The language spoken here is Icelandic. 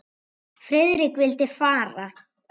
Friðrik vildi fara.